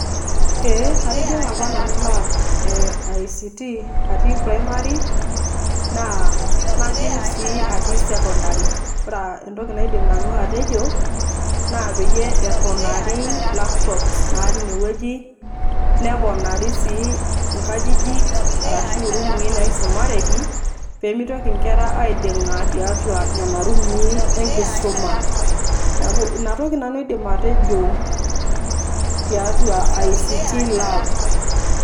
Eeh atijing'a apa nanu lab e ICT atii primary naa najing' sii atii secondary. Ore entoki naidim nanu atejo naa peyie eponari labs natii ine wueji, neponari sii nkajijik arashu irumui naisomareki pee mitoki nkera aiding'a tiatua nena rumui enkisuma. Neeku ina toki nanu aidim atejo tiatua ICT lab.